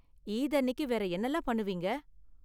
ஈத் அன்னிக்கு வேற என்னலாம் பண்ணுவீங்க?